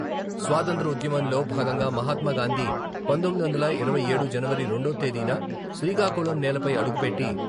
స్వాతంత్య్ర ఉద్యమంలో భాగంగా మహాత్మా గాందీ, పంతొమ్మిది వందల ఇరవై ఏడు జనవరి రెండో తేదీన శ్రీకాకుళం నేలపై అడుగుపెట్టి...